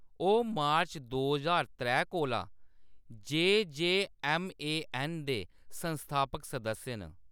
ओह्‌‌ मार्च दो ज्हार त्रै कोला जे.जे.एम.ए.एन. दे संस्थापक सदस्य न।